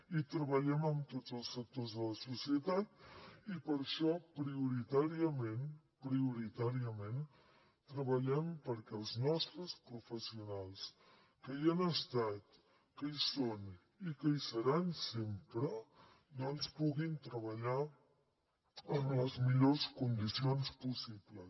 i treballem amb tots els sectors de la societat i per això prioritàriament prioritàriament treballem perquè els nostres professionals que hi han estat que hi són i que hi seran sempre puguin treballar en les millors condicions possibles